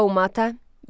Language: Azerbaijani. Qaumata.